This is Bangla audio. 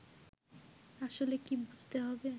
আসলে কী বুঝতে হবে